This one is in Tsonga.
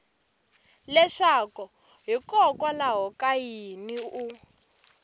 leswaku hikokwalaho ka yini u